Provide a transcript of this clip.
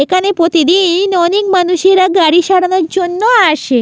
এখানে প্রতিদি-ই-ন অনেক মানুষেরা গাড়ি সারানোর জন্য আসে।